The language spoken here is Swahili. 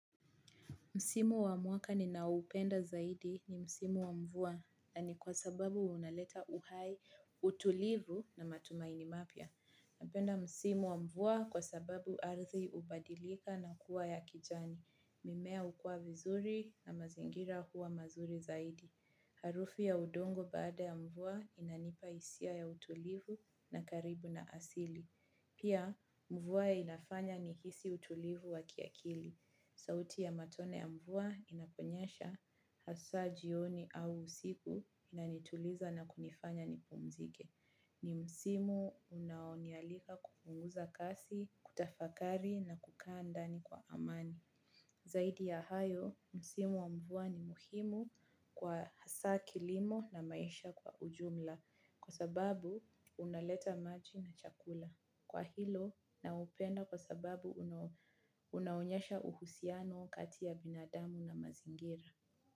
Msimu wa mwaka ninaoupenda zaidi ni msimu wa mvua na ni kwa sababu unaleta uhai utulivu na matumaini mapya. Napenda msimu wa mvua kwa sababu ardhi hubadilika na kuwa ya kijani. Mimea hukua vizuri na mazingira huwa mazuri zaidi. Harufu ya udongo baada ya mvua inanipa hisia ya utulivu na karibu na asili. Pia mvua inafanya nihisi utulivu wa kiakili. Sauti ya matone ya mvua inaponyesha hasa jioni au usiku inanituliza na kunifanya nipumzike. Ni msimu unaonialika kupunguza kasi, kutafakari na kukaa ndani kwa amani. Zaidi ya hayo, msimu wa mvua ni muhimu kwa hasa kilimo na maisha kwa ujumla. Kwa sababu, unaleta maji na chakula. Kwa hilo, naupenda kwa sababu unaonyesha uhusiano kati ya binadamu na mazingira.